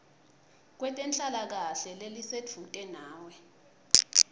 kwetenhlalakahle lelisedvute nawe